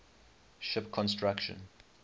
ship construction